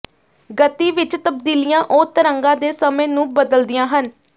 ਗਤੀ ਵਿੱਚ ਤਬਦੀਲੀਆਂ ਉਹ ਤਰੰਗਾਂ ਦੇ ਸਮੇਂ ਨੂੰ ਬਦਲਦੀਆਂ ਹਨ